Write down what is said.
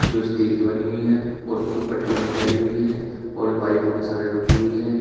जो स्टील की बनी हुई है और ऊपर टीन डली हुई है और पाइपो के सहारे रुकी हुई है।